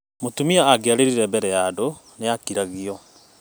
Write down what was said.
Mũtumia angĩaririe bere ya andũ nĩakiragio